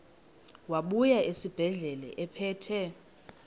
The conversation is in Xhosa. wabuya esibedlela ephethe